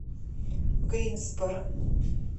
гринсборо